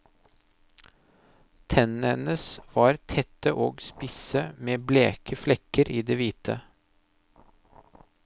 Tennene hennes var tette og spisse med bleke flekker i det hvite.